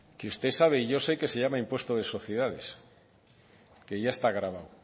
que usted sabe y yo sé que se llama impuesto de sociedades que ya está gravado